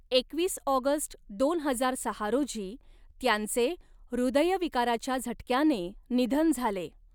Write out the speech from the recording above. एकवीस ऑगस्ट दोन हजार सहा रोजी त्यांचे हृदयविकाराच्या झटक्याने निधन झाले.